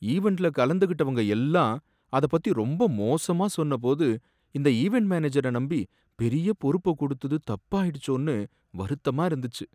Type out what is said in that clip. ஈவண்ட்ல கலந்துக்கிட்டவங்க எல்லாம் அத பத்தி ரொம்ப மோசமா சொன்னபோது, இந்த ஈவண்ட் மேனேஜரை நம்பி பெரிய பொறுப்பை கொடுத்தது தப்பாபோயிடுச்சேன்னு வருத்தமா இருந்துச்சு.